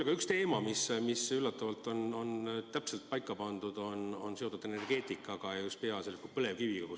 Aga üks teema, mis on üllatavalt täpselt paika pandud, on seotud energeetikaga ja peaasjalikult põlevkiviga.